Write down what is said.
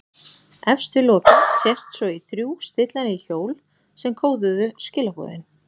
Efst við lokið sést svo í þrjú stillanleg hjól sem kóðuðu skilaboðin.